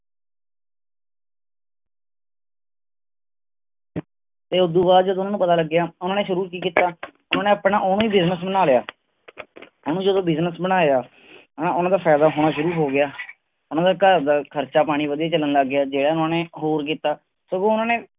ਤੇ ਓਦੂੰ ਬਾਅਦ ਜਦੋਂ ਉਹਨਾਂ ਨੂੰ ਪਤਾ ਲੱਗਿਆ, ਓਹਨਾ ਨੇ ਸ਼ੁਰੂ ਕਿ ਕੀਤਾ, ਉਹਨਾਂ ਨੇ ਆਪਣਾ ਓਵੇਂ ਹੀ Business ਬਣਾ ਲਿਆ ਉਹਨੂੰ ਜਦੋਂ Business ਬਣਾਇਆ ਹਣਾ ਉਹਨਾਂ ਦਾ ਫਾਇਦਾ ਹੋਣਾ ਸ਼ੁਰੂ ਹੋ ਗਿਆ ਉਹਨਾਂ ਦਾ ਘਰ ਦਾ ਖਰਚਾ-ਪਾਣੀ ਵਧੀਆ ਚਲਣ ਲੱਗ ਗਿਆ, ਜੇੜਾ ਓਹਨਾ ਨੇ ਇਕ ਹੋਰ ਕੀਤਾ, ਸਗੋਂ ਉਨ੍ਹਾਂਨੇ